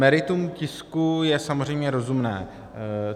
Meritum tisku je samozřejmě rozumné.